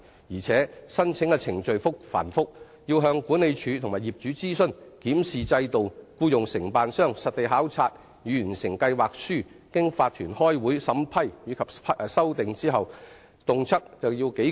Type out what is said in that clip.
而且，申請程序繁複，要向管理處及業主諮詢、檢視制度、僱用承辦商實地考察以完成計劃書，並經法團開會審批及修訂等，動輒耗時數個月。